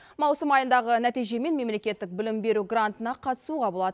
маусым айындағы нәтижемен мемлекеттік білім беру грантына қатысуға болады